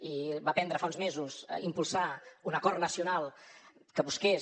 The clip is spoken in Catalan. i va prendre fa uns mesos impulsar un acord nacional que busqués